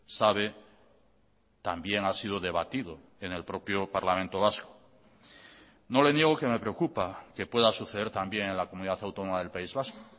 sabe también ha sido debatido en el propio parlamento vasco no le niego que me preocupa que pueda suceder también en la comunidad autónoma del país vasco